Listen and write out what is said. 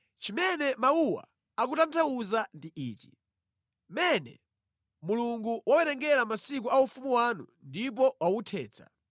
“Zimene mawuwa akutanthauza ndi izi: Mene: Mulungu wawerenga masiku a ufumu wanu ndipo wauthetsa.